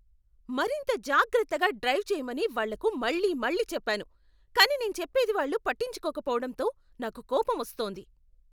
మరింత జాగ్రత్తగా డ్రైవ్ చేయమని వాళ్ళకు మళ్ళీమళ్ళీ చెప్పాను, కానీ నేను చెప్పేది వాళ్ళు పట్టించుకోకపోవడంతో నాకు కోపమొస్తోంది.